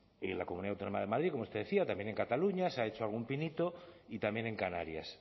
en la comunidad autónoma de madrid como usted decía también en cataluña se ha hecho algún pinito y también en canarias